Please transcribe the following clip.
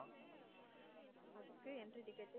அதுக்கு entry ticket உ